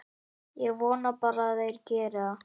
Ég vona bara að þeir geri það.